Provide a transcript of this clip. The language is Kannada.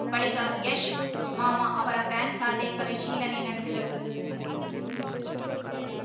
ಬಳಿಕ ಯಶ್‌ ಮಾವ ಅವರ ಬ್ಯಾಂಕ್‌ ಖಾತೆ ಪರಿಶೀಲನೆ ನಡೆಸಿದರು